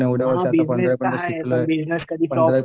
हां बिजनेस तर आहे बिजनेस कधी